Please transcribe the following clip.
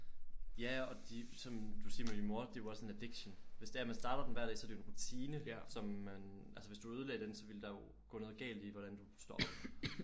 Ja og de som du siger med din mor det er jo også en addiction hvis det er man starter den hver dag så er det jo en rutine som man altså hvis du ødelagde den så ville der jo gå noget galt i hvordan du står op